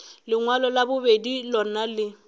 lengwalo la bobedi lona le